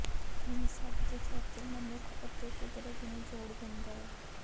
ਹੁਣ ਸਭ ਕੁਝ ਇੱਥੇ ਮਨੁੱਖ ਅਤੇ ਕੁਦਰਤ ਨੂੰ ਜੋੜ ਦਿੰਦਾ ਹੈ